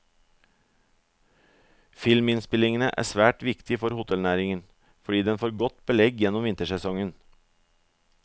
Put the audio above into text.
Filminnspillingene er svært viktig for hotellnæringen, fordi den får godt belegg gjennom vintersesongen.